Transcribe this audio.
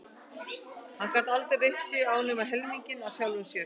Hann gat aldrei reitt sig á nema helminginn af sjálfum sér.